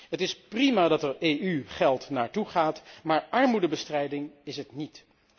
Het is prima dat er EU geld naartoe gaat, maar armoedebestrijding is het niet.